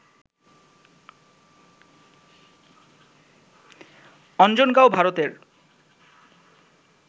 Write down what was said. অঞ্জনগাঁও, ভারতের